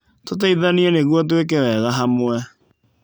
Tũteithanie nĩguo twĩke wega hamwe.